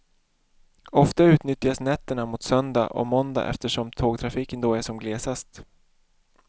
Ofta utnyttjas nätterna mot söndag och måndag eftersom tågtrafiken då är som glesast.